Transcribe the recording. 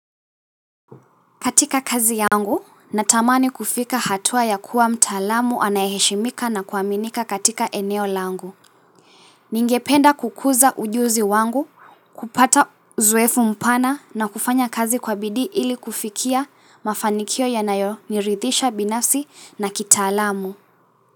Katika kazi yangu, natamani kufika hatua ya kuwa mtaalamu anayeheshimika na kuaminika katika eneo langu. Ningependa kukuza ujuzi wangu, kupata uzoefu mpana na kufanya kazi kwa bidii ili kufikia mafanikio yanayonirithisha binafsi na kitaalamu.